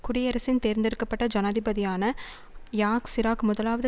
குடியரசின் தேர்ந்தெடுக்க பட்ட ஜனாதிபதியான யாக் சிராக் முதலாவது